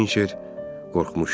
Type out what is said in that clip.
Hinçer qorxmuşdu.